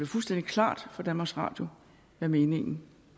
fuldstændig klart for danmarks radio hvad meningen